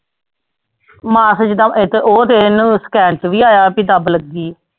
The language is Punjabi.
ਮੈਂ ਫਿਰ ਜਿੱਦਾਂ ਇੱਥੇ ਉਹ ਤੇ ਇਹਨੂੰ scan ਚ ਵੀ ਆਇਆ ਵੀ ਦੱਬ ਲੱਗੀ।